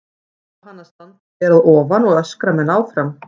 Á hann að standa ber að ofan og öskra menn áfram?